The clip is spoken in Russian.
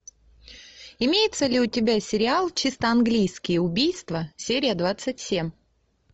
имеется ли у тебя сериал чисто английские убийства серия двадцать семь